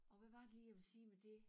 Og hvad var det lige jeg ville sige med det